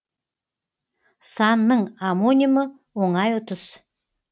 санның омонимі оңай ұтыс